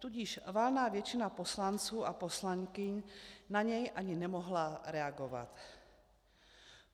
Tudíž valná většina poslanců a poslankyň na něj ani nemohla reagovat.